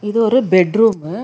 இது ஒரு bedroom .